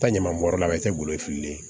Taa ɲaman bɔrɛ la o tɛ golo fililen